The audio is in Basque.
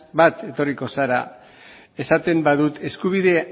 bat etorriko zara esaten badut eskubide